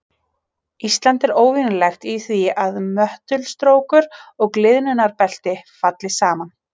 Ísland er óvenjulegt í því að möttulstrókur og gliðnunarbelti falli saman.